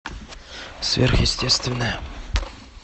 сверхъестественное